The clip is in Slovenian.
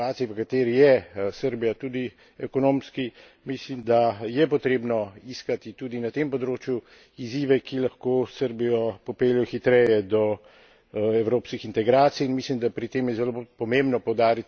In mislim, da v situaciji, v kateri je Srbija, tudi ekonomski, mislim, da je potrebno iskati tudi na tem področju izzive, ki lahko Srbijo popeljejo hitreje do evropskih integracij.